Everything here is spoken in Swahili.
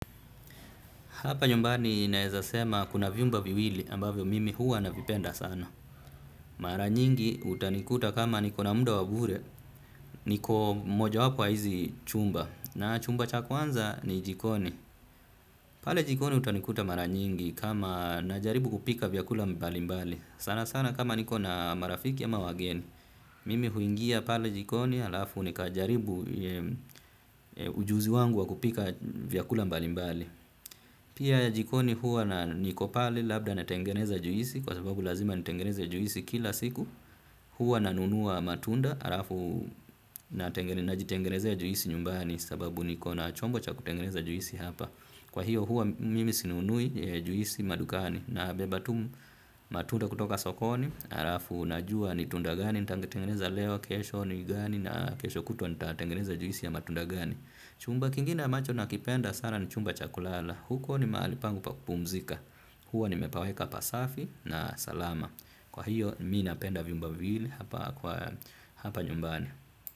Hapa nyumbani naweza sema kuna vyumba viwili ambavyo mimi huwa navipenda sana. Mara nyingi utanikuta kama niko na muda wa bure niko mojawapo wa hizi chumba na chumba cha kwanza ni jikoni. Pale jikoni utanikuta mara nyingi kama najaribu kupika vyakula mbali mbali. Sana sana kama niko na marafiki ama wageni mimi huingia pale jikoni alafu nikajaribu ujuzi wangu wa kupika vyakula mbali mbali. Pia jikoni huwa na niko pale labda natengeneza juisi kwa sababu lazima nitengeneze juisi kila siku. Huwa nanunua matunda alafu najtengeneza juisi nyumbani sababu niko na chombo cha kutengeneza juisi hapa. Kwa hiyo huwa mimi sinunui juisi madukani nabeba tu matunda kutoka sokoni alafu najua ni tunda gani nitatengeneza leo kesho ni gani na kesho kutwa nitatengeneza juisi ya matunda gani. Chumba kingine ambacho nakipenda sana ni chumba cha kulala. Huko ni mahali pangu pa kupumzika. Huwa nimepaweka pasafi na salama. Kwa hiyo mi napenda vyumba viwili. Hapa nyumbani.